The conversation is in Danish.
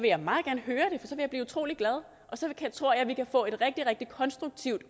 jeg meget gerne høre det for så vil jeg blive utrolig glad og så tror jeg at vi kan få et rigtig rigtig konstruktivt